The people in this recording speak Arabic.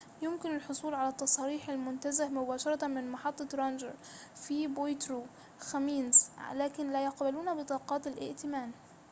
يمكن الحصول على تصاريح المنتزه مباشرة من محطة رانجر في بويترو خمينز لكن لا يقبلون بطاقات الائتمان